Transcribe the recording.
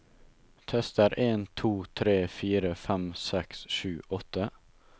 Tester en to tre fire fem seks sju åtte